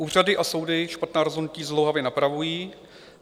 Úřady a soudy špatná rozhodnutí zdlouhavě napravují.